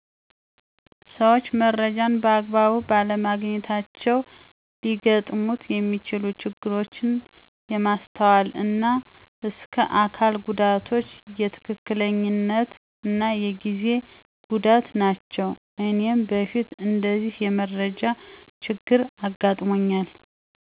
ሰዎች መረጃን በአግባቡ ባለማግኘታቸው ሊገጥሙት የሚችሉ ችግሮች የማስተዋል እና እስከ አካል ጉዳቶች፣ የትክክለኛነት እና የጊዜ ጉዳት ናቸው። እኔም በፊት እንደዚህ የመረጃ ችግር አጋጥሞኛል።